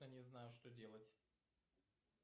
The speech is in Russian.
я не знаю что делать